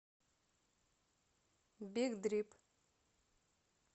биг дрип